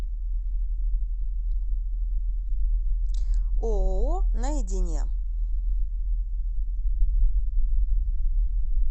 ооо наедине